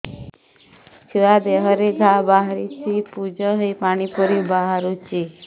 ଛୁଆ ଦେହରେ ଘା ବାହାରିଛି ପୁଜ ହେଇ ପାଣି ପରି ବାହାରୁଚି